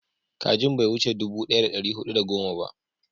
kajin bai wuce dubu daya da dari hudu da goma ba